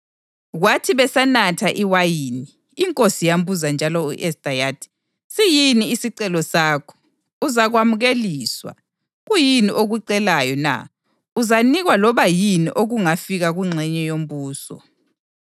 Kwathi besanatha iwayini, inkosi yambuza njalo u-Esta yathi, “Siyini isicelo sakho? Uzakukwamukeliswa. Kuyini okucelayo na? Uzanikwa loba yini okungafika kungxenye yombuso.”